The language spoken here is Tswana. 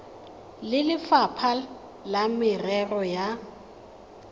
le lefapha la merero ya